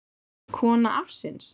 Kona ársins?